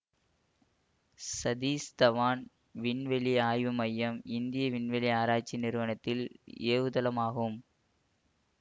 சதீஷ் தவான் விண்வெளி ஆய்வு மையம் இந்திய விண்வெளி ஆராய்ச்சி நிறுவனத்தின் ஏவுதளமாகும்